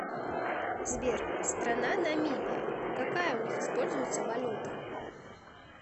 сбер страна намибия какая у них используется валюта